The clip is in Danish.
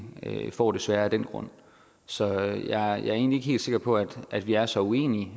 får det forholdsmæssigt sværere af den grund så jeg er egentlig ikke helt sikker på at vi er så uenige